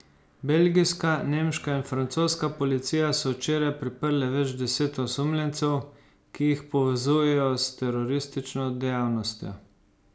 Belgijska, nemška in francoska policija so včeraj priprle več deset osumljencev, ki jih povezujejo s teroristično dejavnostjo.